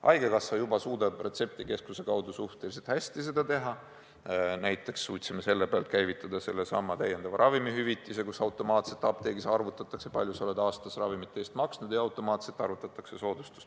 Haigekassa juba suudab retseptikeskuse kaudu suhteliselt hästi seda teha, näiteks suutsime selle pealt käivitada sellesama täiendava ravimihüvitise, nii et apteegis on näha, kui palju sa oled aastas ravimite eest maksnud, ja automaatselt arvutatakse soodustus.